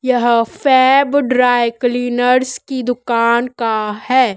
यह Fab dry cleaners की दुकान का है।